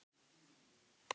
Gunnar lifði allt of stutt.